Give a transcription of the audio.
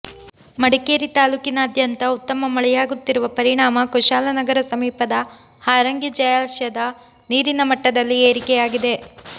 ಮಡಿಕೇರಿ ತಾಲ್ಲೂಕಿನಾದ್ಯಂತ ಉತ್ತಮ ಮಳೆಯಾಗುತ್ತಿರುವ ಪರಿಣಾಮ ಕುಶಾಲನಗರ ಸಮೀಪದ ಹಾರಂಗಿ ಜಲಾಶಯದ ನೀರಿನಮಟ್ಟದಲ್ಲಿ ಏರಿಕೆಯಾಗಿದೆ